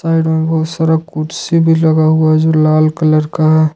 Side में बहुत सारा कुर्सी भी लगा हुआ है जो लाल कलर का है।